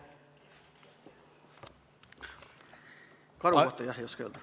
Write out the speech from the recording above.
Karu kohta, jah, ei oska öelda.